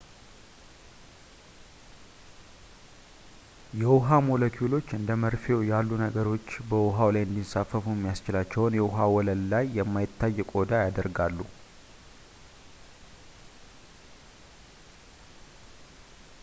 የውሃ ሞለኪውሎች እንደ መርፌው ያሉ ነገሮች በውሃው ላይ እንዲንሳፈፉ የሚያስችላቸውን የውሃ ወለል ላይ የማይታይ ቆዳ ያደርጋሉ